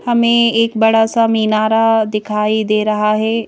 हमें एक बड़ा सा मीनारा दिखाई दे रहा है।